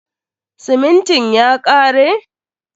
Simintin ya kare?